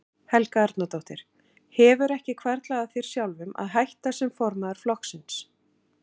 Helga Arnardóttir: Hefur ekki hvarflað að þér sjálfum að hætta sem formaður flokksins?